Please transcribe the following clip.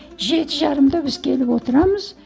жеті жарымда біз келіп отырамыз